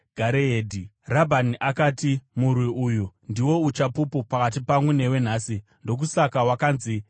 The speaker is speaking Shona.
Rabhani akati, “Murwi uyu ndiwo uchapupu pakati pangu newe nhasi.” Ndokusaka wakanzi Gareedhi.